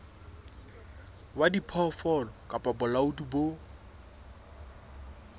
wa diphoofolo kapa bolaodi bo